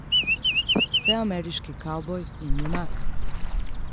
Vseameriški kavboj in junak.